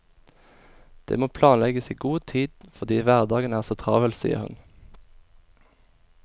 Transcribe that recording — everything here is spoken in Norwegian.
Det må planlegges i god tid fordi hverdagen er så travel, sier hun.